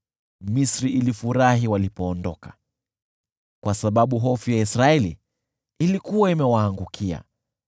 Misri ilifurahi walipoondoka, kwa sababu hofu ya Israeli ilikuwa imewaangukia.